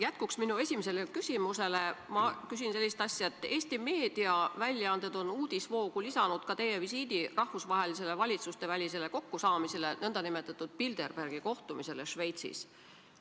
Jätkuks oma esimesele küsimusele ma küsin selle kohta, et Eesti meediaväljaanded on uudisvoogu lisanud ka sõnumi teie osalemisest rahvusvahelisel valitsustevälisel kokkusaamisel, nn Bilderbergi grupi kohtumisel Šveitsis.